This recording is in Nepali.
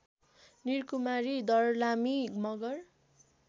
निरकुमारी दर्लामी मगर